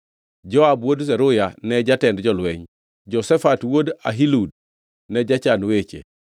Joab wuod Zeruya ne jatend jolweny; Jehoshafat wuod Ahilud ne jachan weche;